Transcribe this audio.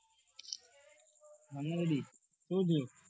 તું બોલ